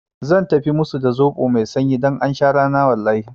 Zan tafi musu da zoɓo mai sanyi don aun sha rana wallahi